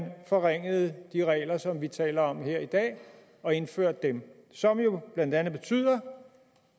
forringede de regler som vi taler om her i dag og indførte dem som jo blandt andet betyder